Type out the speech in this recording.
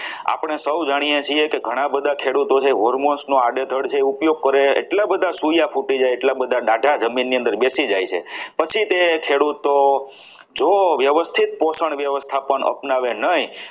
આપણે સૌ જાણીએ છીએ કે ઘણા બધા ખેડૂતો છે hormones આડેધડ જે ઉપયોગ કરે છે એટલા બધા સોયા ફૂટી જાય એટલા બધા ડાઘા જમીન ની અંદર બેસી જાય છે પછી તે ખેડૂતો જો વ્યવસ્થિત પોષણ વ્યવસ્થાપન અપનાવે નહીં